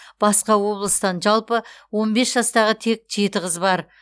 басқа облыстан жалпы он бес жастағы тек жеті қыз бар